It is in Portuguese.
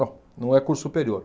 Não é curso superior.